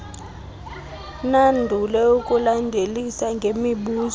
nandule ukulandelisa ngemibuzo